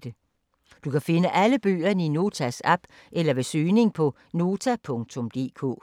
Du kan finde alle bøgerne i Notas app eller ved søgning på Nota.dk